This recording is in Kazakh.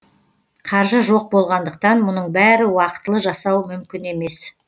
қаржы жоқ болғандықтан мұның бәрін уақытылы жасау мүмкін емес